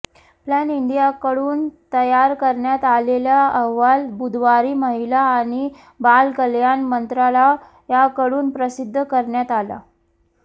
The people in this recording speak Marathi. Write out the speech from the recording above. प्लान इंडियाकडून तयार करण्यात आलेला अहवाल बुधवारी महिला आणि बाल कल्याण मंत्रालयाकडून प्रसिद्ध करण्यात आला